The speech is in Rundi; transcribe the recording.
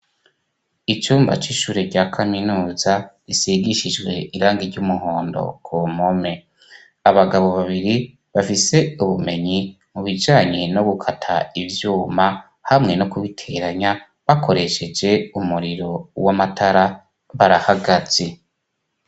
Icumba c'ishure rya kaminuza risigishijwe irangi ry'umuhondo ku mpome. Abagabo babiri bafise ubumenyi mu bijanye no gukata ivyuma hamwe no kubiteranya bakoresheje umuriro w'amatara barahagaze.